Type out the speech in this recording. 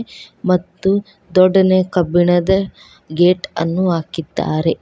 ಮತ್ತು ದೊಡ್ಡನೆ ಕಬ್ಬಿಣದ ಗೇಟ್ ಅನ್ನು ಹಾಕಿದ್ದಾರೆ.